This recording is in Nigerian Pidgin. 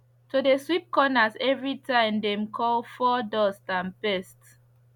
to de sweep corners everytime dem called fur dust and pest